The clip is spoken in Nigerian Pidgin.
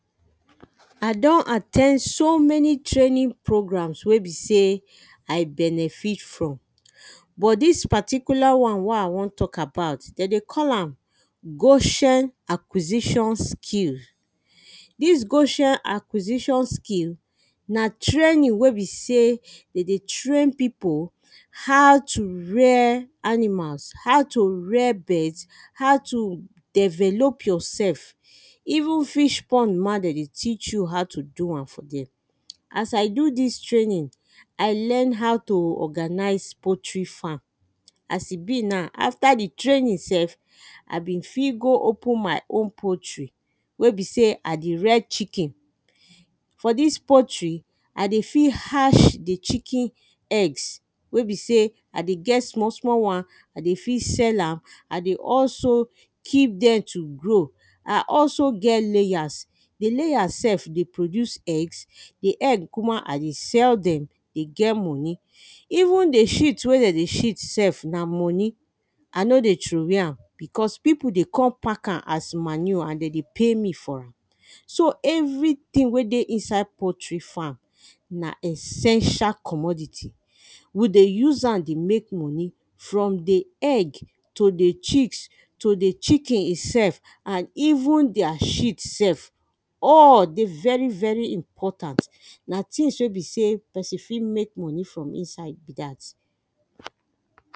I don at ten d so many training programs wey be sey i benefit from But this particular one wey I wan talk about, them dey call am Goshen Acquisition Skill This Goshen Acquisition Skill na training wey be sey them dey train people how to rare animals, how to rare birds how to develop yourself even fish pond ma them dey teach how to do am for there. As I do this training I learn how to organize poultry farm as e be now after the training sef I been fit go open my own poultry wey be sey I dey rare chicken. For this poultry I dey fit hatch the chicken eggs wey be sey I dey get small small ones I dey fit sell am I dey also keep them to grow I also get layers. The layers sef dey produce eggs The eggs kukuma I dey sell them dey get money. Even the sheet sef wey them dey sheet, na money I no dey throwaway am because people dey come pack am as manure and them dey pay me for am So everything wey dey inside poultry farm na essential commodity. we dey use am dey make money From the egg to the chicks to the chicken itself and even their sheet sef all dey very very important. Na ting wey be sey person fit make money from inside be that.